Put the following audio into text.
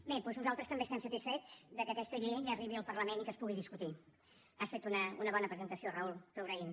bé doncs nosaltres també estem satisfets que aquesta llei arribi al parlament i que es pugui discutir has fet una bona presentació raúl t’ho agraïm